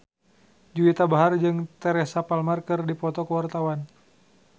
Juwita Bahar jeung Teresa Palmer keur dipoto ku wartawan